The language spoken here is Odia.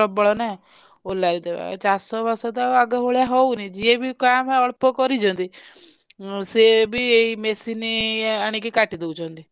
ମାସକ ଭିତରେ ମାଙ୍କଡ ଆମର ଏଠି ମାଙ୍କଡ ପ୍ରବଳ ନା ସେ ଓଲାରୀ ଦେବେ ଚାଷ ବାସ ତ ଆଗ ଭଳିଆ ହଉନି ଯିଏ ବି କାମ୍ଭା ଅଳ୍ପ ଅଳ୍ପ କରିଛନ୍ତି ସେ ବି ଏଇ machine ଆଣି କାଟି ଦଉଛନ୍ତି